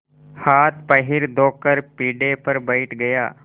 हाथपैर धोकर पीढ़े पर बैठ गया